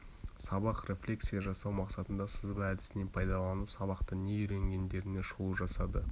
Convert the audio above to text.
сабаққа рефлексия жасау мақсатында сызба әдісінен пайдаланып сабақта не үйренгендеріне шолу жасады